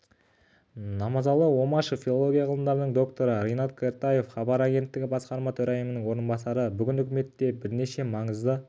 намазалы омашев филология ғылымдарының докторы ринат кертаев хабар агенттігі басқарма төрайымының орынбасары бүгін үкіметте бірнеше маңызды